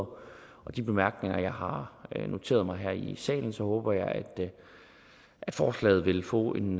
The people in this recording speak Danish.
og med de bemærkninger jeg har noteret mig her i salen håber jeg at forslaget vil få en